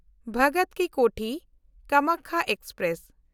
Bhagat Ki Kothi Kamakhya express